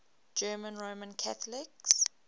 german roman catholics